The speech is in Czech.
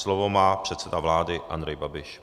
Slovo má předseda vlády Andrej Babiš.